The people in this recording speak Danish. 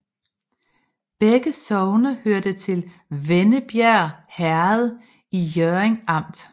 Begge sogne hørte til Vennebjerg Herred i Hjørring Amt